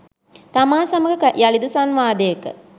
තමා සමග යළිදු සංවාදයක